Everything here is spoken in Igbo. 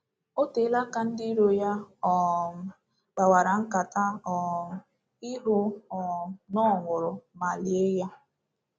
O teela ndị iro ya um kpawara nkata um ịhụ um na ọ nwụrụ ma lie ya.